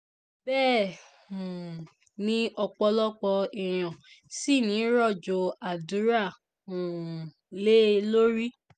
bẹ́ẹ̀ um ni ọ̀pọ̀lọpọ̀ èèyàn ṣì ń rọ̀jò àdúrà um lé e lórí